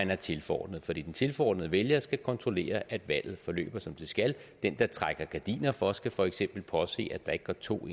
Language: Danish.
være tilforordnet for de tilforordnede vælgere skal kontrollere at valget forløber som det skal den der trækker gardiner for skal for eksempel påse at der ikke går to